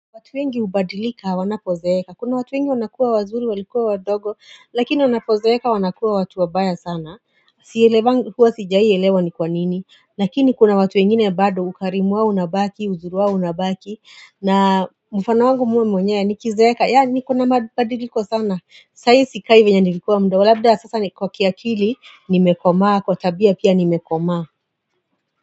Watu wengi ubadilika, wanapozeeka. Kuna watu wengi wanakuwa wazuri, walikuwa wadogo, lakini wanapozeeka wanakuwa watu wabaya sana. Sijai elewa ni kwa nini. Lakini kuna watu wengine bado, ukarimuwao unabaki, uzuriwa unabaki. Na mufanao wangu muwe mwenye, nikizeka, ya nikuna badiliko sana. Saii sikaivenye nilikuwa mdogo. Abda sasa ni kwa kiakili, nimekoma, kwa tabia pia nimekomaa.